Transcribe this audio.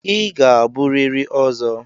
Ị ga-abụrịrị Ozo!